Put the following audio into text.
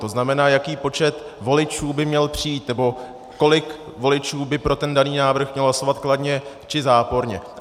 To znamená, jaký počet voličů by měl přijít nebo kolik voličů by pro ten daný návrh mělo hlasovat kladně, či záporně.